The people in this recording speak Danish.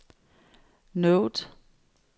note